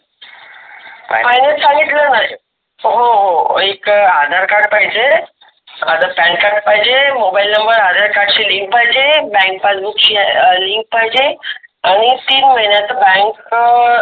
Finance सांगितल ना. हो हो एक आधार card पाहिजे. आण Pan card पाहिजे mobile number, आधार card सी link पाहिजे, bank passbook ची link पाहिजे आणि तीन महीन्याच ब bank